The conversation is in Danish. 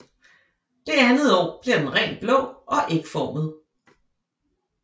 Det andet år bliver den rent blå og ægformet